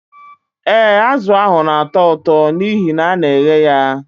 Ee, azụ ahụ na-atọ ụtọ n'ihi na a na-eghe ya